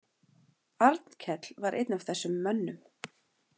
Arnkell var einn af þessum mönnum.